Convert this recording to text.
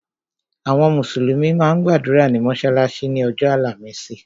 Àwọn mùsùlùmí máa ń gbàdúrà ní mọ́sálásí ni ọjọ́ àlàmísì.